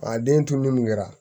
A den tunun kɛra